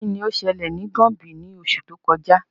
Kini o ṣẹlẹ ni Gombe ni oṣu to kọja?